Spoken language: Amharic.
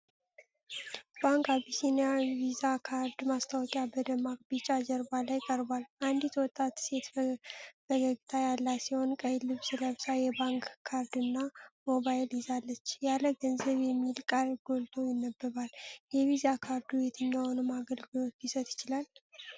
ባንክ አቢሲኒያ ቪዛ ካርድ ማስታወቂያ በደማቅ ቢጫ ጀርባ ላይ ቀርቧል። አንዲት ወጣት ሴት ፈገግታ ያላት ሲሆን ቀይ ልብስ ለብሳ፣ የባንክ ካርድና ሞባይል ይዛለች። "ያለ ገንዘብ" የሚል ቃል ጎልቶ ይነበባል። የቪዛ ካርዱ የትኛዎቹን አገልግሎቶች ሊሰጥ ይችላል?